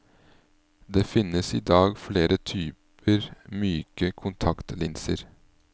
Det finnes i dag flere typer myke kontaktlinser.